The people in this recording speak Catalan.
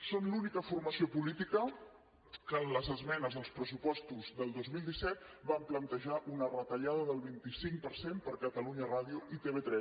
són l’única formació política que en les esmenes als pressupostos del dos mil disset van plantejar una retallada del vint cinc per cent per a catalunya ràdio i tv3